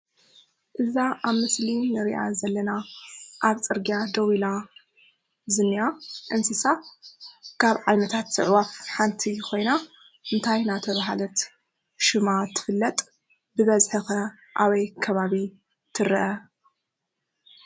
እዛ ኣብ ምስሊ እንሪኣ ዘለና ኣብ ፅርግያ ደው ኢላ ዝንኣ እንስሳት ካብ ዓይነታት ዓዕዋፍ ሓንቲ ኮይና እንታይ እነተባሃለት ሽማ ትፍለጥ? ብበዝሒ ከ ኣበይ ከባቢ ትረአ?